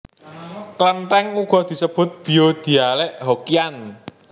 Klenthèng uga disebut bio dhialek Hokkian